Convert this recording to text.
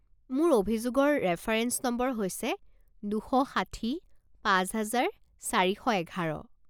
মোৰ অভিযোগৰ reference number হৈছে দুশ ষাঠি পাঁচ হাজাৰ চাৰি শ এঘাৰ।